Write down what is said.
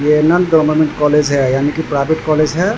ये union government college है यानी की प्राइवेट कॉलेज है।